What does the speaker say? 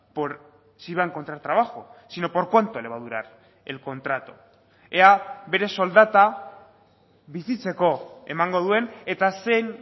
por si va a encontrar trabajo sino por cuánto le va a durar el contrato ea bere soldata bizitzeko emango duen eta zein